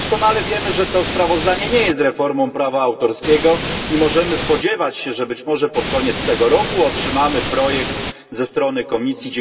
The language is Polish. Doskonale wiemy, że to sprawozdanie nie jest reformą prawa autorskiego i możemy spodziewać się, że być może pod koniec tego roku otrzymamy projekt ze strony Komisji.